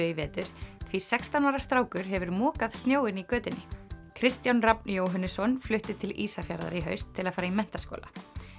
í vetur því sextán ára strákur hefur mokað snjóinn í götunni Kristján Rafn flutti til Ísafjarðar í haust til að fara í menntaskóla